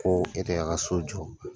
Ko e de y'a ka so jɔ.